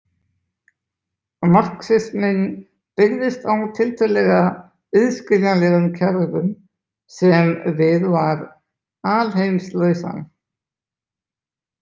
Marxisminn byggðist á tiltölulega auðskiljanlegum kerfum sem við var alheimslausn.